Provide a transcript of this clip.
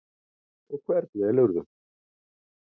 Og hvern velurðu?